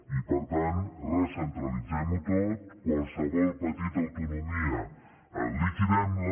i per tant recentralitzem ho tot qualsevol petita autonomia liquidem la